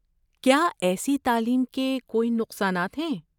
کیا ایسی تعلیم کے کوئی نقصانات ہیں؟